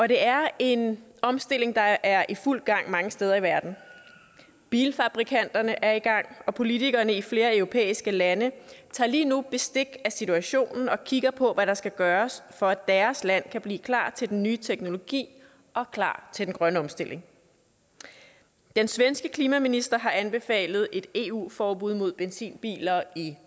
det er en omstilling der er i fuld gang mange steder i verden bilfabrikanterne er i gang og politikerne i flere europæiske lande tager lige nu bestik af situationen og kigger på hvad der skal gøres for at deres land kan blive klar til den nye teknologi og klar til den grønne omstilling den svenske klimaminister har anbefalet et eu forbud mod benzinbiler i